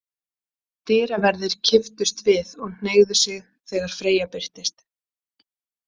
Dyraverðir kipptust við og hneigðu sig þegar Freyja birtist.